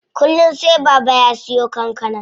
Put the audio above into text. Kullum sai Baba ya siyo kankana.